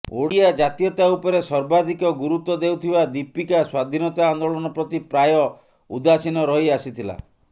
ଓଡିଆ ଜାତୀୟତା ଉପରେ ସର୍ବାଧିକ ଗୁରୁତ୍ବ ଦେଉଥିବା ଦୀପିକା ସ୍ବାଧିନତା ଆନ୍ଦୋଳନ ପ୍ରତି ପ୍ରାୟ ଉଦାସୀନ ରହି ଆସିଥିଲା